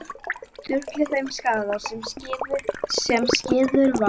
Sturlu þeim skaða sem skeður var með fréttaflutningi blaðsins.